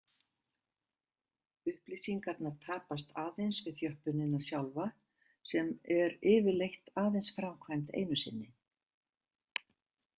Upplýsingarnar tapast aðeins við þjöppunina sjálfa sem er yfirleitt aðeins framkvæmd einu sinni.